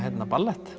ballett